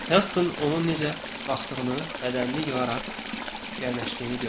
Helsing onun necə qalxdığını, bədənini yığaraq gəriləşdiyini gördü.